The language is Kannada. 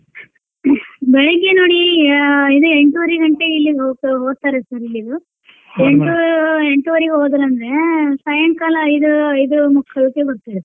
ಬೆಳಿಗ್ಗೆ ನೋಡಿ ಅಹ್ ಇದ್ ಎಂಟುವರೀ ಗಂಟೆ ಇಲ್ಲಿಂದ ಹೋಕ್~ಹೋಕ್ತಾರೆ sir ಇಲ್ಲಿದ್ದು ಎಂಟೂ ಎಂಟುವರೀಗ್ ಹೋದ್ರಂದ್ರೆ ಸಾಯಂಕಾಲ ಐದು ಐದೂ ಮುಕ್ಕಾಲಿಗ ಬರ್ತಾರಿ.